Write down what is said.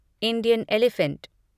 Indian elephant